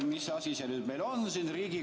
Mis asi see nüüd meil on?